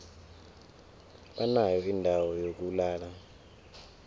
banayo indawo yokulala